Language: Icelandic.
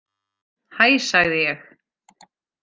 Hæ sagði ég.